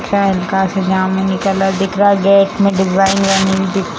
यह हल्का सा जामुन कलर दिख रहा है गेट में डिज़ाइन बनी हुई दिख रही --